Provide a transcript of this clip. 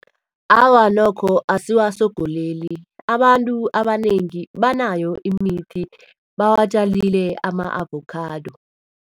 Awa, nokho asiwasongoleli. Abantu abanengi banayo imithi bawatjalile ama-avokhado.